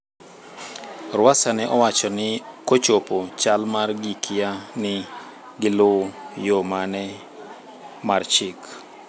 Rwasa ne owacho ni kochopo chal mar gikia ni gi luw yo mane mar chik